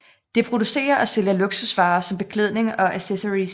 Det producerer og sælger luksusvarer som beklædning og accessories